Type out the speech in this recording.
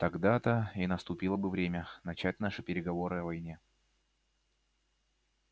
тогда-то и наступило бы время начать наши переговоры о войне